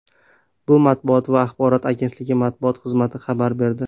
Bu Matbuot va axborot agentligi matbuot xizmati xabar berdi.